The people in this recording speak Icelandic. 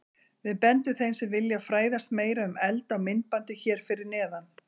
Við bendum þeim sem vilja fræðast meira um eld á myndbandið hér fyrir neðan.